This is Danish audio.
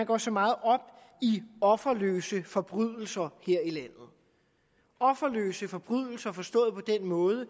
går så meget op i offerløse forbrydelser offerløse forbrydelser forstået på den måde at